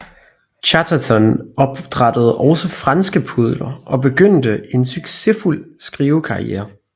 Chatterton opdrættede også franske pudler og begyndte en succesfuld skrivekarriere